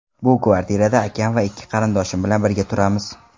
Bu kvartirada akam va ikki qarindoshim bilan birga turamiz.